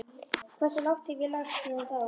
Hversu lágt hef ég lagst síðan þá?